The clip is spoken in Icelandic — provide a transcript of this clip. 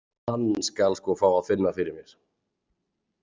Hann skal sko fá að finna fyrir mér.